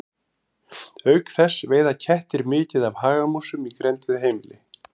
Auk þess veiða kettir mikið af hagamúsum í grennd við heimili.